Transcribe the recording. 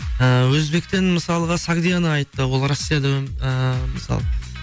ыыы өзбектен мысалға сагдиана айтты ол россияда ыыы мысалы